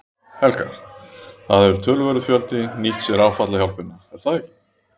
Helga: Það hefur töluverður fjöldi nýtt sér áfallahjálpina er það ekki?